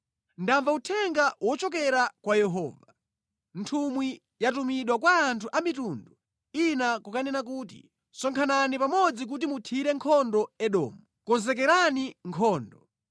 Ndamva uthenga wochokera kwa Yehova: Nthumwi yatumidwa kupita kwa anthu a mitundu ina kukanena kuti, “Sonkhanani pamodzi kuti muthire nkhondo Edomu! Konzekerani nkhondo!”